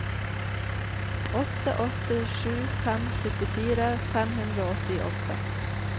åtte åtte sju fem syttifire fem hundre og åttiåtte